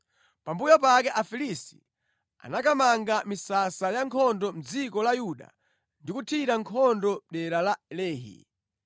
Pambuyo pake Afilisti anakamanga misasa ya nkhondo mʼdziko la Yuda, ndi kuthira nkhondo mʼdera la Lehi.